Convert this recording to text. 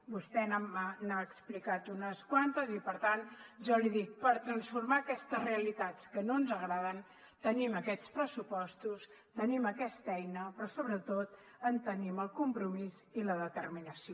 vostè n’ha explicat unes quantes i per tant jo li dic per transformar aquestes realitats que no ens agraden tenim aquests pressupostos tenim aquesta eina però sobretot en tenim el compromís i la determinació